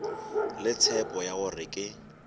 le tshepo ya gore ke